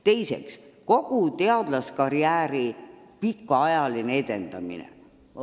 Teiseks, kogu teadlaskarjääri pikaajaline edendamine.